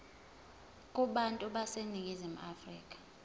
kubantu baseningizimu afrika